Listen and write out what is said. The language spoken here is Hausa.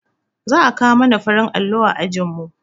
Za a kawo mana farin allo a ajinmu